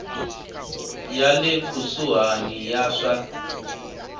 ya le kusuhani ya swa